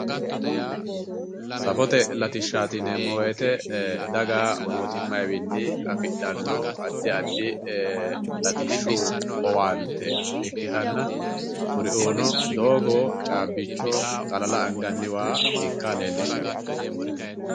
safote latishaati yineemmo woyte mootimmayiwi afidhanno addi addi ee llatishshu owaante ikkitanna kuriuno, doogo, caabbicho, xalala waa ikka leellishshanno .